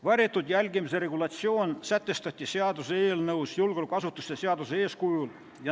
Varjatud jälgimise regulatsioon sätestati seaduseelnõus julgeolekuasutuste seaduse eeskujul.